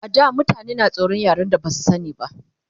A da mutane na tsoran yaren da Basu sani ba